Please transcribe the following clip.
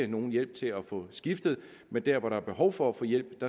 nogen hjælp til at få skiftet men der hvor der er behov for at få hjælp